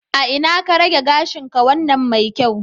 A ina ka rage gashinka wannan mai kyau?